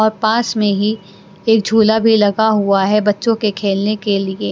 और पास में ही एक झूला भी लगा हुआ है बच्चों के खेलने के लिए--